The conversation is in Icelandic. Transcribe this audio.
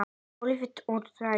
Óvirkt úrræði?